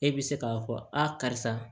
E bɛ se k'a fɔ a karisa